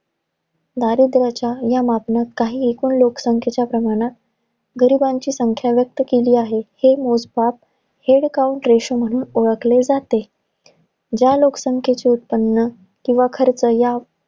दारिद्र्याच्या या मापनात, काही एकूण लोकसंख्येच्या प्रमाणत, गरिबांची संख्या व्यक्त केली आहे. हे मोजमाप head count ratio म्हणून ओळखले जाते. ज्या लोकसंख्येचे उत्पन्न किंवा खर्च या,